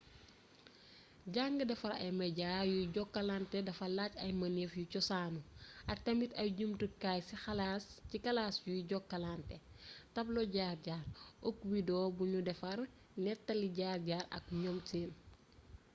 jàng defar ay media yuy jokkalante dafa laaj ay mënef yu cosaanu ak tamit ay jumtukaay ci kalaas yuy jokkalante tablo jaar jaar o oak wdeo bu nu defar nettali jaar jaar ak ñoom seen.